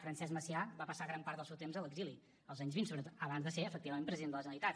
francesc macià va passar gran part del seu temps a l’exili als anys vint sobretot abans de ser efectivament president de la generalitat